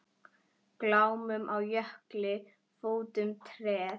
Glámu á jökli fótum treð.